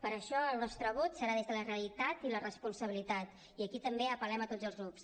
per això el nostre vot serà des de la realitat i la responsabilitat i aquí també apel·lem a tots els grups